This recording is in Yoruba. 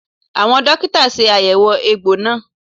Àwọn dókítà ṣe àyẹ̀wò egbò náà